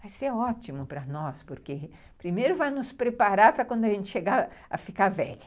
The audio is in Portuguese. Vai ser ótimo para nós, porque primeiro vai nos preparar para quando a gente chegar a ficar velha.